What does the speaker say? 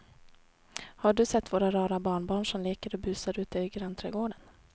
Har du sett våra rara barnbarn som leker och busar ute i grannträdgården!